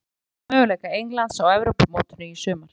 Hann segir það minnka möguleika Englands á Evrópumótinu í sumar.